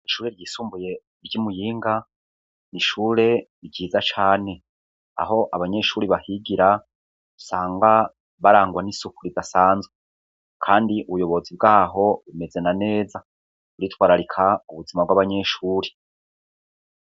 Ishure ryisumbuye ry'i Muyinga ,n'ishure ryiza cane, aho abanyeshuri bahigira usanga barangwa n'isuku ridasanzwe, kandi ubuyobozi bwaho bumeze na neza, buritwararika ubuzima bw'abanyeshuri.